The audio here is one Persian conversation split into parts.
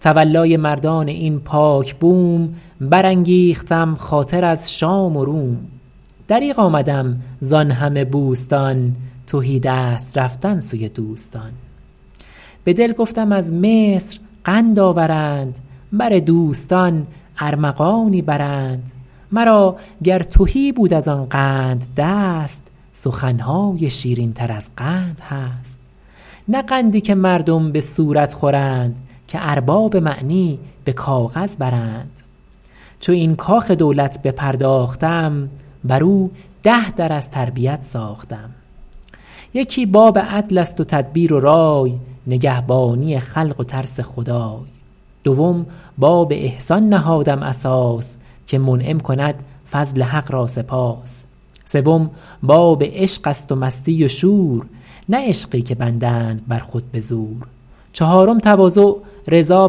تولای مردان این پاک بوم برانگیختم خاطر از شام و روم دریغ آمدم زآن همه بوستان تهیدست رفتن سوی دوستان به دل گفتم از مصر قند آورند بر دوستان ارمغانی برند مرا گر تهی بود از آن قند دست سخن های شیرین تر از قند هست نه قندی که مردم به صورت خورند که ارباب معنی به کاغذ برند چو این کاخ دولت بپرداختم بر او ده در از تربیت ساختم یکی باب عدل است و تدبیر و رای نگهبانی خلق و ترس خدای دوم باب احسان نهادم اساس که منعم کند فضل حق را سپاس سوم باب عشق است و مستی و شور نه عشقی که بندند بر خود بزور چهارم تواضع رضا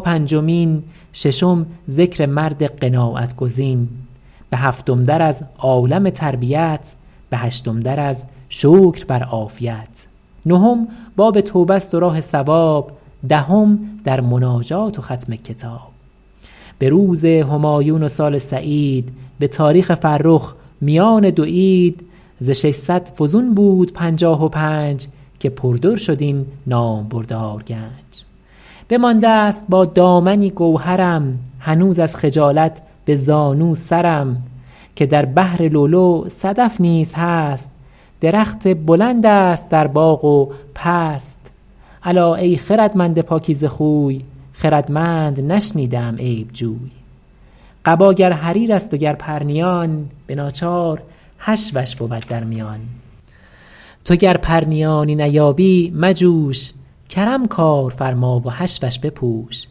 پنجمین ششم ذکر مرد قناعت گزین به هفتم در از عالم تربیت به هشتم در از شکر بر عافیت نهم باب توبه است و راه صواب دهم در مناجات و ختم کتاب به روز همایون و سال سعید به تاریخ فرخ میان دو عید ز ششصد فزون بود پنجاه و پنج که پر در شد این نامبردار گنج بمانده ست با دامنی گوهرم هنوز از خجالت به زانو سرم که در بحر لؤلؤ صدف نیز هست درخت بلند است در باغ و پست الا ای خردمند پاکیزه خوی خردمند نشنیده ام عیب جوی قبا گر حریر است و گر پرنیان به ناچار حشوش بود در میان تو گر پرنیانی نیابی مجوش کرم کار فرما و حشوش بپوش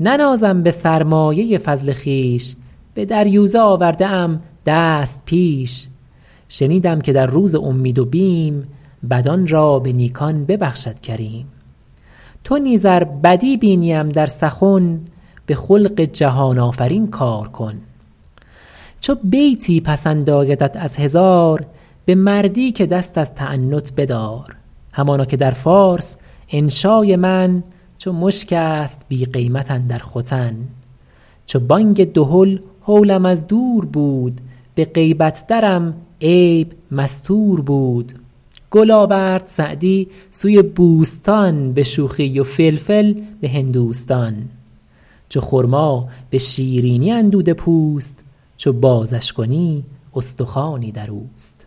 ننازم به سرمایه فضل خویش به دریوزه آورده ام دست پیش شنیدم که در روز امید و بیم بدان را به نیکان ببخشد کریم تو نیز ار بدی بینیم در سخن به خلق جهان آفرین کار کن چو بیتی پسند آیدت از هزار به مردی که دست از تعنت بدار همانا که در فارس انشای من چو مشک است بی قیمت اندر ختن چو بانگ دهل هولم از دور بود به غیبت درم عیب مستور بود گل آورد سعدی سوی بوستان به شوخی و فلفل به هندوستان چو خرما به شیرینی اندوده پوست چو بازش کنی استخوانی در اوست